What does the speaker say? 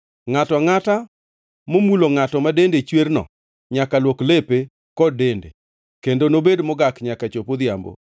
“ ‘Ngʼato angʼata momulo ngʼato ma dende chwerno nyaka luok lepe kod dende, kendo nobed mogak nyaka chop odhiambo.